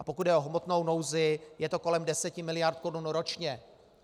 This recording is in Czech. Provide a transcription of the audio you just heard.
A pokud jde o hmotnou nouzi, je to kolem 10 miliard korun ročně.